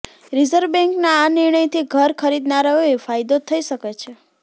reserve બેંકના આ નિર્ણયથી ઘર ખરીદનારાઓને ફાયદો થઈ શકે છે